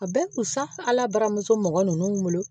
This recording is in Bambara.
A bɛ kunsan ala bara muso mɔgɔ ninnu wolo